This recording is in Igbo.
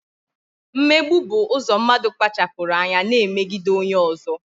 Mmegbu bụ ụzọ mmadụ kpachapụrụ anya na-emegide onye ọzọ